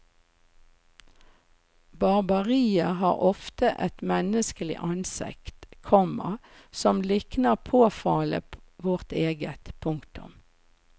Barbariet har ofte et menneskelig ansikt, komma som likner påfallende vårt eget. punktum